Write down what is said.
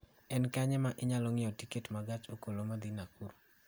En kanye ma anyalo ng�iewo tiket ma gach okolo madhi Nakuru?